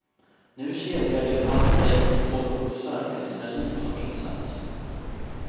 Nu kedjar de fast sig vid tåg och bussar med sina liv som insats.